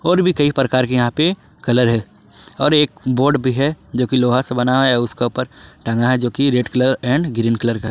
और भी कई प्रकार के यहां पे कलर हैं और एक बोर्ड भी है जोकि लोहा से बनाया हुआ है उसके ऊपर टंगा है जोकि red colour and green colour का है।